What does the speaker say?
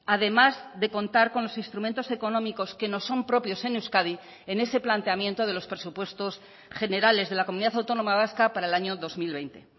además de contar con los instrumentos económicos que nos son propios en euskadi en ese planteamiento de los presupuestos generales de la comunidad autónoma vasca para el año dos mil veinte